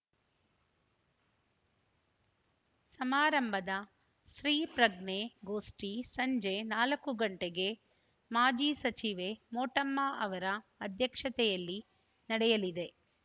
ಸಮಾರಂಭದ ಸ್ತ್ರೀ ಪ್ರಜ್ಞೆ ಗೋಷ್ಠಿ ಸಂಜೆ ನಾಲ್ಕು ಗಂಟೆಗೆ ಮಾಜಿ ಸಚಿವೆ ಮೋಟಮ್ಮ ಅವರ ಅಧ್ಯಕ್ಷತೆಯಲ್ಲಿ ನಡೆಯಲಿದೆ